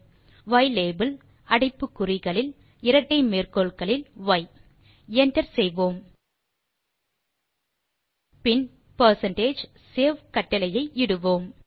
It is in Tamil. யிலாபெல் அடைப்புக்குறிகளில் இரட்டை மேற்கோள்களில் y160 என்டர் செய்வோம் பின் பெர்சென்டேஜ் சேவ் கட்டளையை இடுவோம்